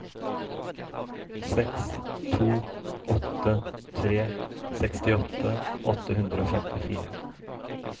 seks to åtte tre sekstiåtte åtte hundre og femtifire